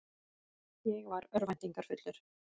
Ég var örvæntingarfullur.